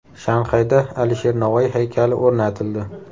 Shanxayda Alisher Navoiy haykali o‘rnatildi.